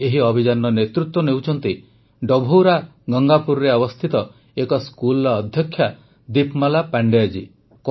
ଏହି ଅଭିଯାନର ନେତୃତ୍ୱ ନେଉଛନ୍ତି ଡଭୌରା ଗଙ୍ଗାପୁରରେ ଅବସ୍ଥିତ ଏକ ସ୍କୁଲର ଅଧ୍ୟକ୍ଷା ଦୀପମାଲା ପାଣ୍ଡେୟ ଜୀ